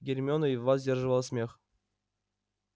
гермиона едва сдерживала смех